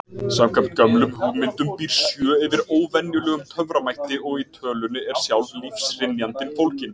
Samkvæmt gömlum hugmyndum býr sjö yfir óvenjulegum töframætti og í tölunni er sjálf lífshrynjandin fólgin.